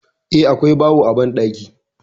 Eh, akwai bawo a banɗaki.